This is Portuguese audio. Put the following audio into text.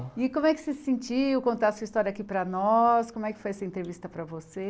E como é que você se sentiu, contar sua história aqui para nós, como é que foi essa entrevista para você?